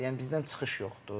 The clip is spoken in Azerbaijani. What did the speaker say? Yəni bizdən çıxış yoxdur.